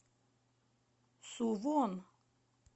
сувон